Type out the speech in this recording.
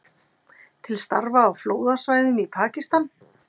Til starfa á flóðasvæðum í Pakistan